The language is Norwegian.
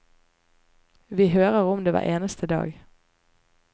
Vi hører om det hver eneste dag.